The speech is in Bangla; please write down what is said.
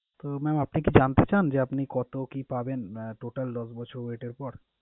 তো mam আপনি কি জানতে চান যে আপনি কত কি পাবেন আহ total দশ বছর wait এর পর?